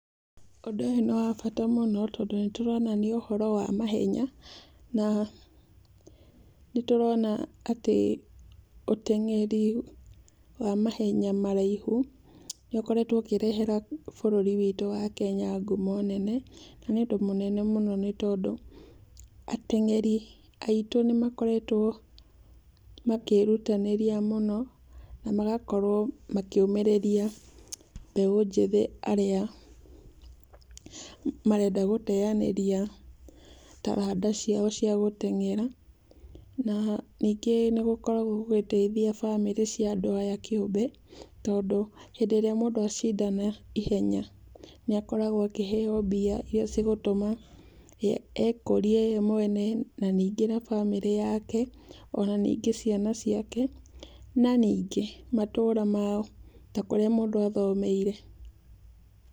Ũndũ ũyũ nĩ wa bata mũno, tondũ nĩtũrona nĩ ũhoro wa mahenya, na nĩtũrona atĩ ũteng'eri wa mahenya maraihu nĩ ũkoretwo ũkĩreherea bũrũri witũ wa Kenya ngumon nene. Nĩ ũndũ mũnene mũno nĩtondũ ateng'eri aitũ nĩmakoretwo makĩĩrutanĩria mũno na magakorwo makĩũmĩrĩria mbeũ njĩthĩ arĩa marenda gũteanĩria taranda ciao cia gũteng'era na ningĩ nĩ gũkoragwo gũgĩteithia bamĩrĩ cia andũ aya kĩũmbe, tondũ hĩndĩ ĩrĩa mũndũ acindana ihenya, nĩ akoragwo akĩheo mbia iria cigũtũma ye ekũrie we mwene na ningĩn na bamĩrĩ yake, ona ningĩ ciana ciake, na ningĩ, matũũra mao ta kũrĩa mũndũ athomeire.